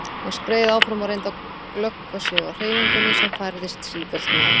Hann skreið áfram og reyndi að glöggva sig á hreyfingunni sem færðist sífellt nær.